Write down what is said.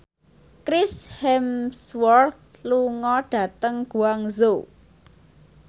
Chris Hemsworth lunga dhateng Guangzhou